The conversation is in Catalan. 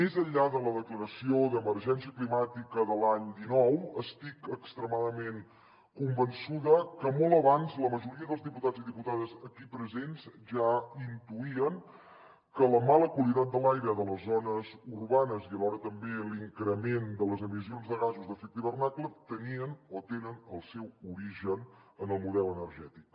més enllà de la declaració d’emergència climàtica de l’any dinou estic extremadament convençuda que molt abans la majoria dels diputats i diputades aquí presents ja intuïen que la mala qualitat de l’aire de les zones urbanes i alhora també l’increment de les emissions de gasos d’efecte hivernacle tenien o tenen el seu origen en el model energètic